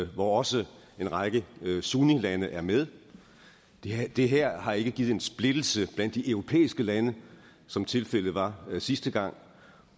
hvor også en række sunnilande er med det her det her har ikke givet en splittelse blandt de europæiske lande som tilfældet var sidste gang